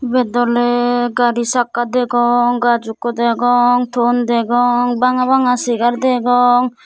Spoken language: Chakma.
ubet doley gaari sakka degong gajch ikko degong ton degong banga banga segar degong.